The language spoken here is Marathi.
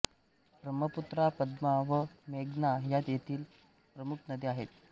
ब्रम्हपुत्रा पद्मा व मेघना ह्या येथील प्रमुख नद्या आहेत